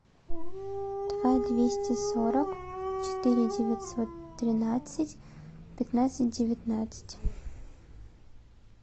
два двести сорок четыре девятьсот двенадцать пятнадцать девятнадцать